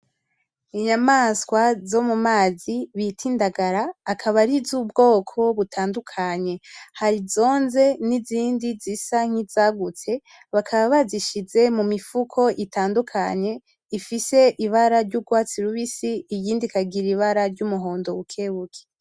Inyamaswa zo mumazi bita indagara, akaba ari z'ubwoko butandukanye ,har'izonze n'izindi zisa nkizagutse ,bakaba bazishize mumifuko itandukanye ifise ibara ry''urwatsi rubisi iyindi ikagira ibara ry'umuhondo bukebuke.